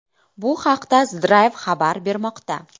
Bu haqda The Drive xabar bermoqda .